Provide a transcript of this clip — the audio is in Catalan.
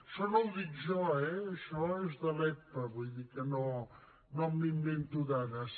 això no ho dic jo eh això és de l’epa vull dir que no m’invento dades